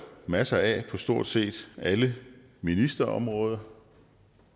masser af på stort set alle ministerområder